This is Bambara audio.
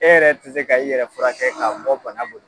E yɛrɛ tɛ se ka i yɛrɛ furakɛ ka bɔ bana bolo.